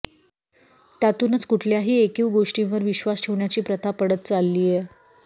त्यातूनच कुठल्याही ऐकीव गोष्टींवर विश्वास ठेवण्याची प्रथा पडत चाललीय